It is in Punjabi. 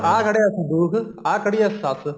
ਆ ਖੜੀ ਐ ਸੰਦੂਕ ਆ ਖੜੀ ਐ ਸੱਸ